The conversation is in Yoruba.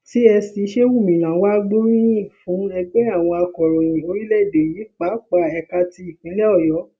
csc shehu minna wàá gbóríyìn fún ẹgbẹ àwọn akòròyìn orílẹèdè yìí pàápàá ẹka ti ìpínlẹ ọyọ